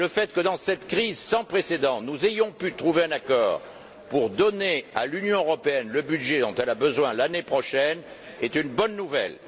Et le fait que dans cette crise sans précédent, nous ayons pu trouver un accord pour donner à l'Union européenne le budget dont elle a besoin l'année prochaine, est une bonne nouvelle.